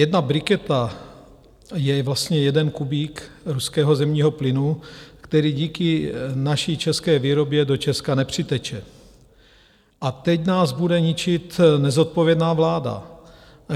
Jedna briketa je vlastně jeden kubík ruského zemního plynu, který díky naší české výrobě do Česka nepřiteče, a teď nás bude ničit nezodpovědná vláda.